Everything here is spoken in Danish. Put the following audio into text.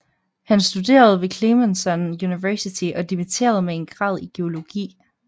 Han studerede ved Clemson University og dimitterede med en grad i geologi